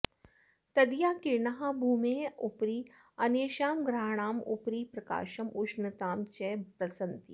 तदीयाः किरणाः भूमेः उपरि अन्येषां ग्रहाणाम् उपरि प्रकाशम् उष्णतां च प्रसरन्ति